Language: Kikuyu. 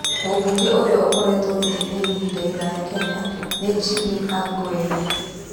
Mũmbunge ũrĩa ũkoretwo gĩtĩ-inĩ ihinda iraya Kenya nĩ Jimmy Angwenyi.